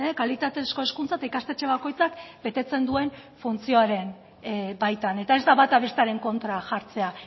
kalitatezko hezkuntza eta ikastetxe bakoitzak betetzen duen funtzioaren baitan eta ez da bata bestearen kontra jartzea